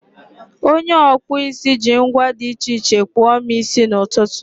onye ọkpụ isi ji ngwa dị iche iche kpụọ m isi n'ụtụtụ.